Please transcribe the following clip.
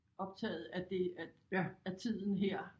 Optaget af det af af tiden her